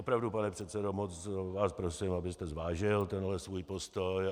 Opravdu, pane předsedo, moc vás prosím, abyste zvážil tenhle svůj postoj.